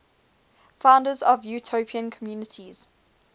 founders of utopian communities